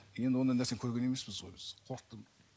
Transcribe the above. енді ондай нәрсені көрген емеспіз ғой біз қорықтық